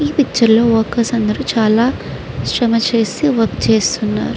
ఈ పిక్చర్ లో వర్క్ అందరు చాల శ్రమ చేసి వస్తున్నారు.